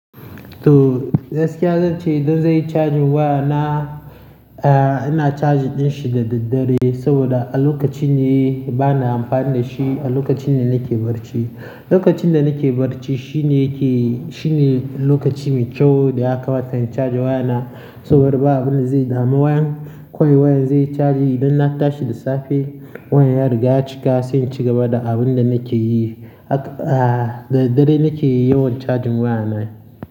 To, gaskiya zan ce idan zanyi charging wayana, eh ina charging ɗinshi da daddare saboda a lokaci ne bana amfani dashi. A lokaci ne nake barci. Lokacin da nake barci shine yake, shine lokaci mai kyau da ya kamata in chaja wayana saboda ba abunda zai dami wayan. Kawai wayan zai yi chaji idan na tashi da safe wayan ya riga ya cika sai in ci gaba da abinda nake yi. Haka, da daddare nake yi yawan charging wayana.